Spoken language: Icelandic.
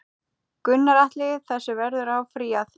Gunnar Atli: Þessu verður áfrýjað?